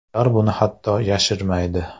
Ular buni hatto yashirmaydi!